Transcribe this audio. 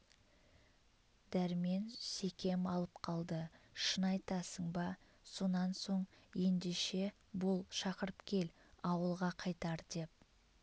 дәрмен секем алып қалды шын айтасың ба сонан соң ендеше бол шақырып кел ауылға қайтар деп